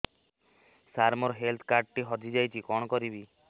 ସାର ମୋର health card ଟି ହଜି ଯାଇଛି କଣ କରିବି